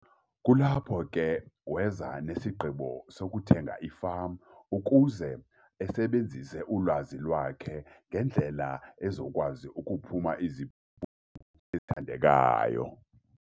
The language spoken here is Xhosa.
Kulapho ke weza nesigqibo sokuthenga ifama ukuze asebenzise ulwazi lwakhe ngendlela ezokwazi ukuphuma iziphumo ethandekayo.